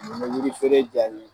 Mun be yiri feere ja i ye